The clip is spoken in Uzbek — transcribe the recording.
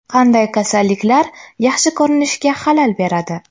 Qanday kasalliklar yaxshi ko‘rinishga xalal beradi?.